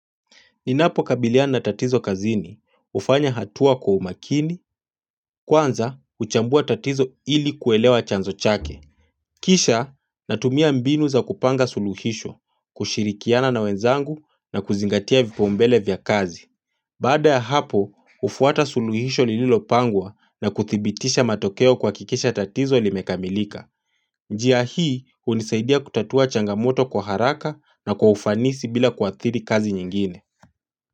Ninapo kabiliana tatizo kazini, hufanya hatua kwa umakini, kwanza, uchambua tatizo ili kuelewa chanzo chake. Kisha, natumia mbinu za kupanga suluhisho, kushirikiana na wenzangu na kuzingatia vipaumbele vya kazi. Baada ya hapo, ufuata suluhisho lililopangwa na kuthibitisha matokeo kuhakikisha tatizo limekamilika. Njia hii, unisaidia kutatua changamoto kwa haraka na kwa ufanisi bila kuathiri kazi nyingine.